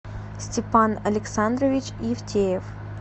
степан александрович евтеев